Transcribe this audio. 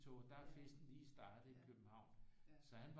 Tog der er festen lige startet i København så han